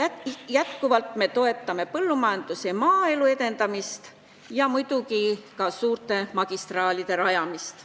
Endiselt toetame põllumajanduse ja üldse maaelu edendamist ja muidugi ka suurte magistraalide rajamist.